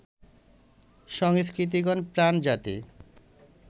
সংস্কৃতিগত-প্রাণ জাতি